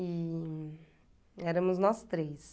E éramos nós três.